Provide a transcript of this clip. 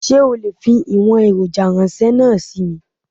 Sé o lè fi ìwòn èròjà ránsé náà sí mi?